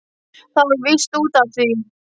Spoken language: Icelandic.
Það var víst út af því!